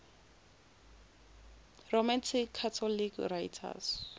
roman catholic writers